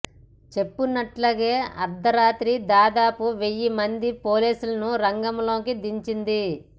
చెప్పినట్లుగా అర్ధరాత్రి దాదాపు వెయ్యి మంది పోలీసులను రంగంలోకి దించింది